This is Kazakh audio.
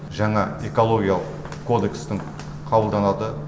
жаңа экологиялық кодекстің қабылданады